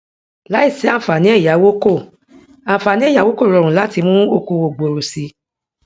láìsí àǹfààní ẹyáwó kò àǹfààní ẹyáwó kò rọrùn láti mú okòòwò gbòòrò si